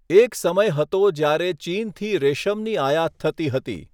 એક સમય હતો જ્યારે ચીનથી રેશમની આયાત થતી હતી.